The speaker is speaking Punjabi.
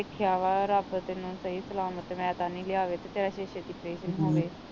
ਵੇਖਿਆ ਵਾ ਰੱਬ ਤੈਨੂੰ ਸਹੀ ਸਲਾਮਤ ਮੈ ਤੇ ਆਨੀ ਲਿਆਵੇ ਤੇ ਤੇਰਾ ਛੇਤੀ ਛੇਤੀ ਅਪਰੇਸ਼ਨ ਹੋਵੇ